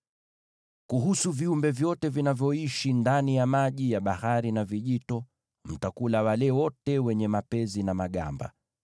“ ‘Kuhusu viumbe wote wanaoishi ndani ya maji ya bahari na vijito, mtakula wale wote wenye mapezi na magamba.